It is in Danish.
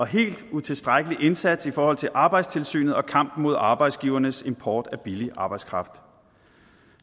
helt utilstrækkelig indsats i forhold til arbejdstilsynet og kampen mod arbejdsgivernes import af billig arbejdskraft